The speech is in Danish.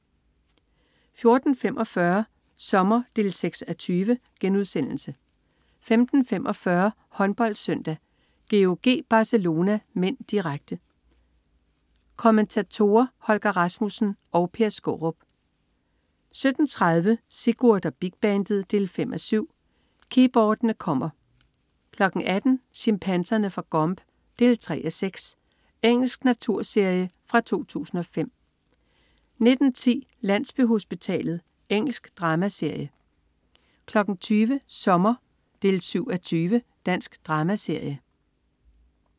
14.45 Sommer 6:20* 15.45 HåndboldSøndag: GOG-Barcelona (m), direkte. Kommentatorer: Holger Rasmussen og Per Skaarup 17.30 Sigurd og Big Bandet 5:7. Keyboardene kommer! 18.00 Chimpanserne fra Gombe 3:6. Engelsk naturserie fra 2005 19.10 Landsbyhospitalet. Engelsk dramaserie 20.00 Sommer 7:20. Dansk dramaserie